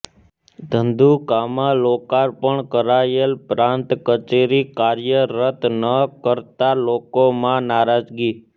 ધંધુકામાં લોકાર્પણ કરાયેલ પ્રાંત કચેરી કાર્યરત ન કરાતાં લોકોમાં નારાજગી